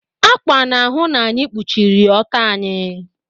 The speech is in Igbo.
Ákwà na-ahụ na anyị kpuchiri ọtọ anyị.